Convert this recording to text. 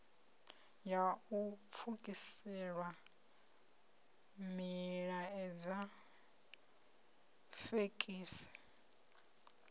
ya u pfukisela milaedza fekisi